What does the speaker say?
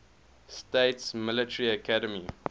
states military academy